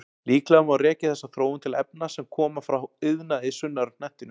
Líklega má rekja þessa þróun til efna sem koma frá iðnaði sunnar á hnettinum.